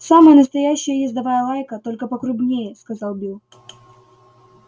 самая настоящая ездовая лайка только покрупнее сказал билл